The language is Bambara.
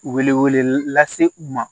Wele wele lase u ma